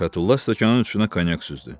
Fətulla stəkanın içinə konyak süzdü.